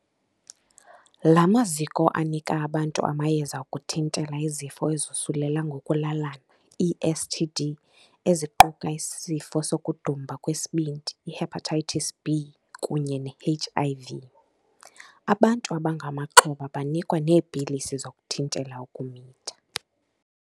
La maziko anika abantu amayeza okuthintela izifo ezosulela ngokulalalana ii-STD eziquka isifo sokudumba kwesibindi i-Hepatitis B kunye ne-HIV. Abantu abangamaxhoba banikwa neepilisi zokuthintela ukumitha.